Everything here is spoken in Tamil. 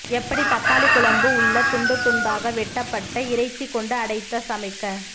எப்படி தக்காளி குழம்பு உள்ள துண்டு துண்தாக வெட்டப்பட்ட இறைச்சி கொண்டு அடைத்த சமைக்க